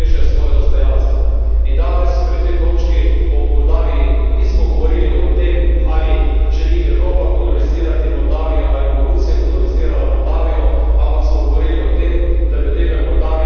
In danes, pri tej točki o Moldaviji, nismo govorilo o tem, ali želi Evropa kolonizirati Moldavijo ali bo Rusija kolonizirala Moldavijo, ampak smo govorili o tem, da ljudem v Moldaviji omogočimo boljše življenje.